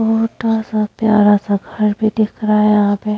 छोटा सा प्यारा सा घर भी दिख रहा है यहाँ पे।